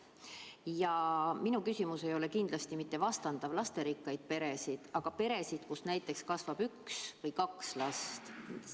Ja minu küsimus ei ole kindlasti mitte mõeldud vastandama lasterikkaid peresid nende peredega, kus kasvab üks laps või kaks last.